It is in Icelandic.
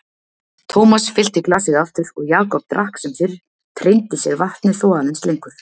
Thomas fyllti glasið aftur og Jakob drakk sem fyrr, treindi sér vatnið þó aðeins lengur.